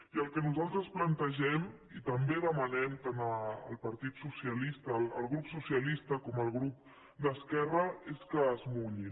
i el que nosaltres plantegem i també demanem tant al grup socialista com al grup d’esquerra és que es mu·llin